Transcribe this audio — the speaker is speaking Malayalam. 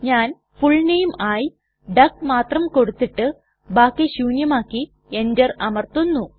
ഞാൻ ഫുൾ നാമെ ആയി ഡക്ക് മാത്രം കൊടുത്തിട്ട് ബാക്കി ശൂന്യമാക്കി എന്റർ അമർത്തുന്നു